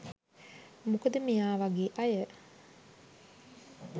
මොකද මෙයා වගේ අය